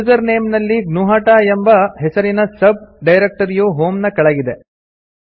user name ನಲ್ಲಿ ಜ್ಞುಹತ ಎಂಬ ಹೆಸರಿನ ಸಬ್ ಡೈರೆಕ್ಟರಿಯು ಹೋಂ ನ ಕೆಳಗಿದೆ